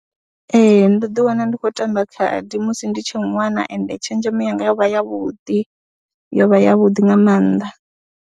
Ee, ndo ḓiwana ndi khou tamba khadi musi ndi tshe ṅwana ende tshenzhemo yanga yo vha yavhuḓi yo vha yavhuḓi nga maanḓa.